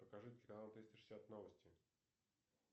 покажите канал триста шестьдесят новости